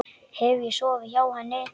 Hef ég sofið hjá henni?